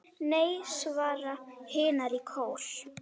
Nei, svara hinar í kór.